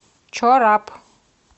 чорап